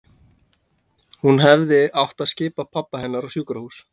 Hún hefði átt að skipa pabba hennar á sjúkrahús.